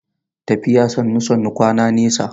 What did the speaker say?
Tafiya sannu sannu, kwana nesa.